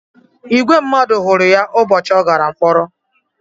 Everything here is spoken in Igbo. Ìgwè mmadụ hụrụ ya ụbọchị ọ gàrà mkpọrọ